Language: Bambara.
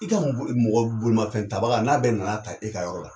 I ka mɔbili mɔgɔ bolimafɛn ta baga n'a bɛ na n'a ta e ka yɔrɔ la